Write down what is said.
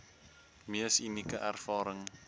mees unieke ervaring